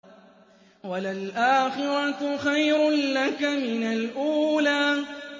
وَلَلْآخِرَةُ خَيْرٌ لَّكَ مِنَ الْأُولَىٰ